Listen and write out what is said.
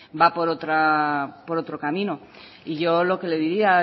va por otro camino y yo lo que le diría